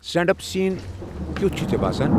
Stand up سیٖن کِیُتھ چھُ ژے باسان؟